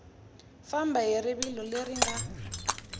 famba hi rivilo leri nga